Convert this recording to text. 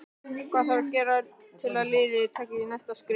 Hvað þarf að gera til að liðið taki næsta skref?